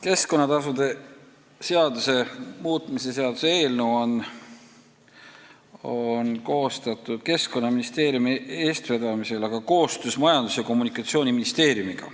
Keskkonnatasude seaduse muutmise seaduse eelnõu on koostatud Keskkonnaministeeriumi eestvedamisel, aga koostöös Majandus- ja Kommunikatsiooniministeeriumiga.